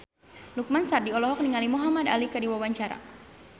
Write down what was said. Lukman Sardi olohok ningali Muhamad Ali keur diwawancara